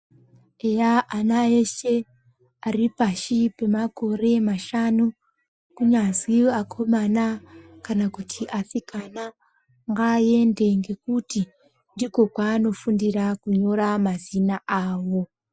Eya ana eshe aripashi pemakore mashanu kunyazwi akomana kana kuti asikana ngaaende ngekuti ndikwo kwaanofundira kunyora mazina awo.